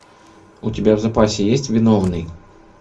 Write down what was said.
у тебя в запасе есть виновный